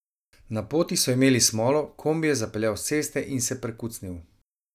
Na poti so imeli smolo, kombi je zapeljal s ceste in se prekucnil.